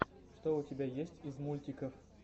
что у тебя есть из мультиков